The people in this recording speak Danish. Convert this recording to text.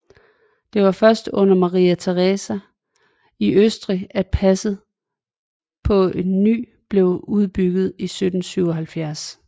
Det var først under Maria Theresia af Østrig at passet på ny blev udbygget i 1777